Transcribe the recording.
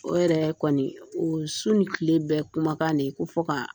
O yɛrɛ kɔni o su ni tile bɛ kumakan de ye ko fɔ ka